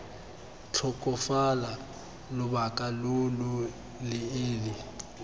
tlhokafala lobaka lo lo leele